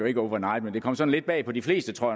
ikke over night men det kom sådan lidt bag på de fleste tror